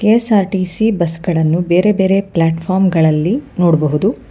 KSRTC bus ಗಳನ್ನು ಬೇರೆ ಬೇರೆ ಪ್ಲಾಟ್ಫಾರ್ಮ್ ಗಳಲ್ಲಿ ನೋಡಬಹುದು.